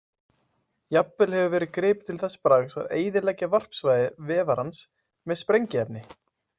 Jafnvel hefur verið gripið til þess bragðs að eyðileggja varpsvæði vefarans með sprengiefni.